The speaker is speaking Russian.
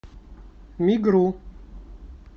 мигру